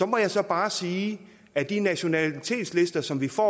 må jeg så bare sige at de nationalitetslister som vi får